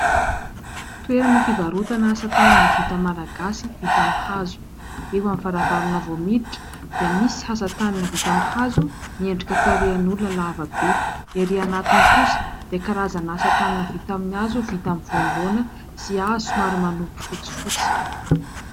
Toerana fivarotana asa tanana vita malagasy vita amin'ny hazo, eo amin'ny varavarana vao miditra dia misy asa tanana vita amin'ny hazo miendrika tarehan'olona lava be. Erỳ anatiny kosa dia karazana asa tanana vita amin'ny hazo vita amin'ny voamboana sy hazo somary manopy fotsifotsy.